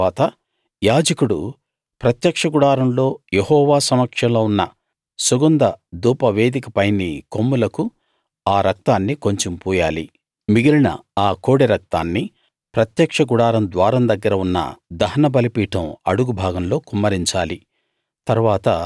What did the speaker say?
తరువాత యాజకుడు ప్రత్యక్ష గుడారంలో యెహోవా సమక్షంలో ఉన్న సుగంధ ధూపవేదిక పైని కొమ్ములకు ఆ రక్తాన్ని కొంచెం పూయాలి మిగిలిన ఆ కోడె రక్తాన్ని ప్రత్యక్ష గుడారం ద్వారం దగ్గర ఉన్న దహన బలిపీఠం అడుగు భాగంలో కుమ్మరించాలి